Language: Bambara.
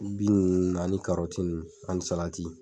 Bin nunnu ani ani salati